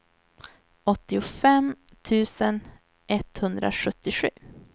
åttiofem tusen etthundrasjuttiosju